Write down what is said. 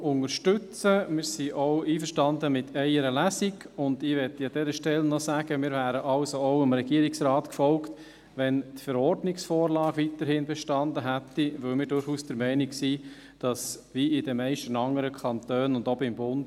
Wir sind auch einverstanden mit einer Lesung, und ich möchte an dieser Stelle noch sagen: Wir wären dem Regierungsrat auch gefolgt, wenn die Verordnungsvorlage weiterhin bestanden hätte, weil wir durchaus der Meinung sind, dass die Regierung dies auch selbst hätte organisieren können – wie in den meisten anderen Kantonen und auch beim Bund.